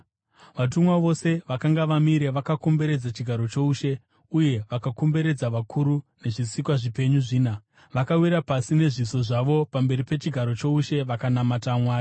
Vatumwa vose vakanga vamire vakakomberedza chigaro choushe uye vakakomberedza vakuru nezvisikwa zvipenyu zvina. Vakawira pasi nezviso zvavo pamberi pechigaro choushe vakanamata Mwari,